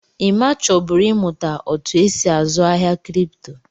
Emma chọburu ị mụta otú e si azụ ahịa kripto.